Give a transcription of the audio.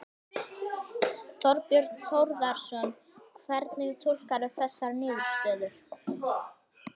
Þorbjörn Þórðarson: Hvernig túlkarðu þessar niðurstöður?